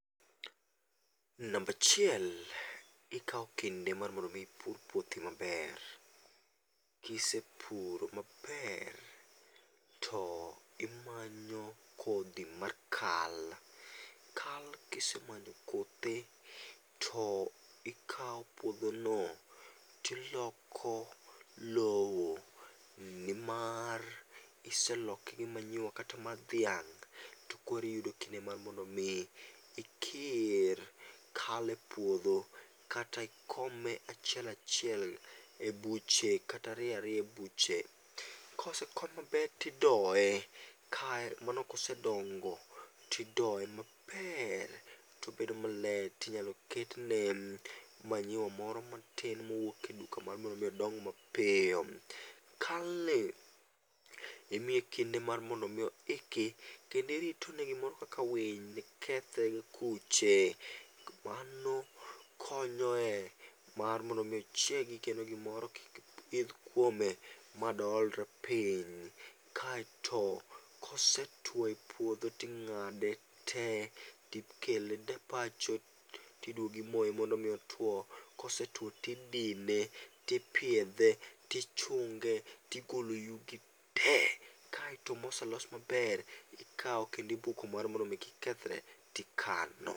Namba achiel, ikawo kinde mar mondo mi ipur puothi ma ber. Ki isepure maber ti imanyo kodhi mar kal . Kal kisemanyo kothe to ikawo puodho no to iloko lowo, ni mar kiseloke gi manyiwa kata mar dhiang' to koro iyudo kinde mar mondo mi ikir kal e puodho kata ikome achiel achiel e buche kata ariyo ariyo e buche. Ka osekom maber to idoyoe mano kosedongo ti idoye ma ber to obed ma ber to obeda ma ler to inyalo ket ne manyiwa moro matin ma owuok e duka ma nyalo miyo odong ma piyo. Ka ler imiye kinde mar mondo mi oikre kendo irito ne gi moro kaka winy nikethe gi kuche mano konyo e mar mondo mi ochiegi kata gimoro kik idh kuome ma de oolre piny. Kaito kosetwo e pudho ti ing'ade te ti ikele e pacho ti idwogo imoye mondo mi otwo kosetwo tidine ti ipiedhe ti ichunge ti igolo yugi te, kaito moselos ma ber ti ikawo ti ibuko mar mondo mi kik kethre ti ikano.